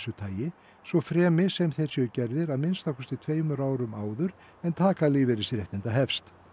tagi svo fremi sem þeir séu gerðir að minnsta kosti tveimur árum áður en taka lífeyrisréttinda hefst